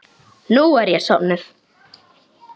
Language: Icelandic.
Nú er ég sofnuð.